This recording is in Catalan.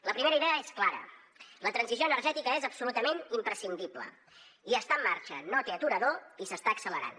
la primera idea és clara la transició energètica és absolutament imprescindible i està en marxa no té aturador i s’està accelerant